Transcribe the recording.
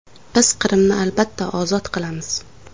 Biz Qrimni albatta ozod qilamiz.